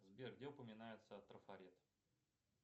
сбер где упоминается трафарет